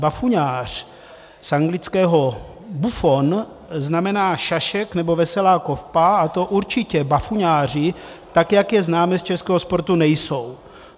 Bafuňář z anglického buffoon znamená šašek nebo veselá kopa, a to určitě bafuňáři, tak jak je známe z českého sportu, nejsou.